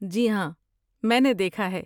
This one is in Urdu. جی ہاں! میں نے دیکھا ہے۔